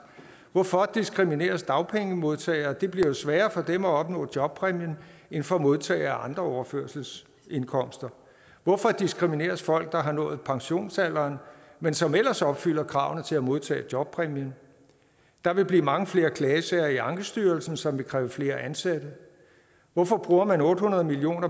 hvorfor diskrimineres dagpengemodtagere det bliver jo sværere for dem at opnå jobpræmien end for modtagere af andre overførselsindkomster hvorfor diskrimineres folk der har nået pensionsalderen men som ellers opfylder kravene til at modtage jobpræmien der vil blive mange flere klagesager i ankestyrelsen som vil kræve flere ansatte hvorfor bruger man otte hundrede million